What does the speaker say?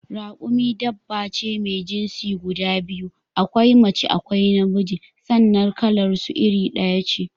Rakumi dabba ce mai jinsi guda biyu: akwai mace akwai na miji sannan kalar su iri ɗaya ce